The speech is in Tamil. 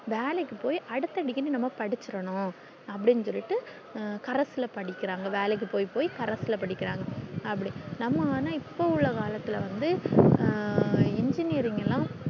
வேலைக்கு போய் அடுத்த degree நம்ம படிச்சிரனும் அப்டின்னு சொல்லிட்டு correspondence ல படிக்கிறாங்க வேலைக்கு போய் போய் correspondence ல படிக்கிறாங்க அப்டி நம்மன்னா இப்போ உள்ள காலத்துள்ளவந்து engineering ல்லா